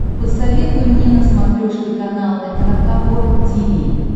посоветуй мне на смотрешке канал эн эйч кей волд ти ви